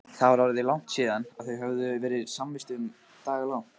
Það var orðið langt síðan þau höfðu verið samvistum daglangt.